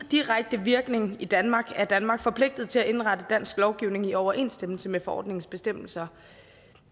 direkte virkning i danmark er danmark forpligtet til at indrette dansk lovgivning i overensstemmelse med forordningens bestemmelser